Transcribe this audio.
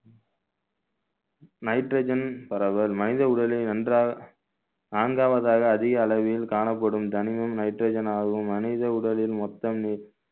nitrogen பரவல் மனித உடலை நன்றா~ நான்காவதாக அதிக அளவில் காணப்படும் கனிமம் nitrogen ஆகும் மனித உடலில் மொத்தம் மூ~